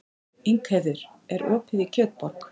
Ingheiður, er opið í Kjötborg?